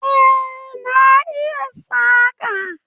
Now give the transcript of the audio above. Eh na iya saƙa